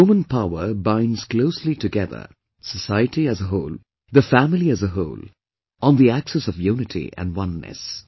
This woman power binds closely together society as a whole, the family as a whole, on the axis of unity & oneness